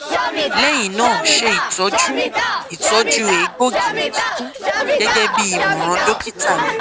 lẹhin naa ṣe itọju itọju egboogi ni kikun gẹgẹbi imọran dokita rẹ